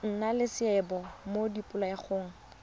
nna le seabe mo dipoelong